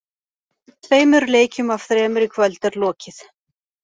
Tveimur leikjum af þremur í kvöld er lokið.